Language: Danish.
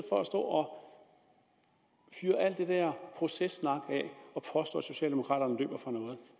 for at stå og fyre alt det dér processnak af og påstå at socialdemokraterne løber fra noget